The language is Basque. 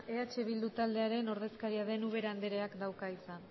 eh bildu taldearen ordezkaria den ubera andreak dauka hitza